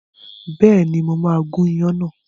Bẹ́ẹ̀ni, mo máa gun ìyàn náà.